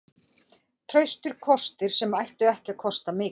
Traustir kostir sem ættu ekki að kosta mikið.